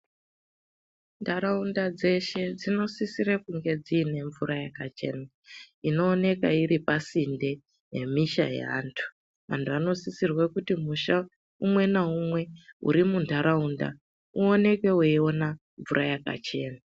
Ntaraunda dzeshe dzinosisire kunge dziine mvura yakachena inooneke iri pasinde nemisha yeantu antu anosisirwe kuti musha umwe ngaumwe uri muntaraunda uoneke mvura yakachena.